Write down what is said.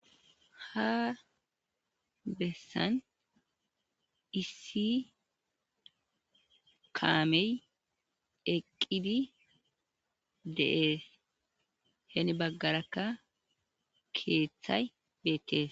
Ha bessan issi kaamee eqqidi de7ees;heni baggarakka keeththay beeththees.